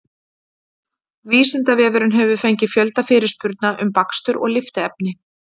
Vísindavefurinn hefur fengið fjölda fyrirspurna um bakstur og lyftiefni.